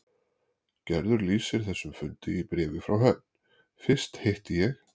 Gerður lýsir þessum fundi í bréfi frá Höfn: Fyrst hitti ég